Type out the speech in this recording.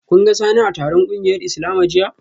Kun ga Sani a taron kungiyar Islama jiya?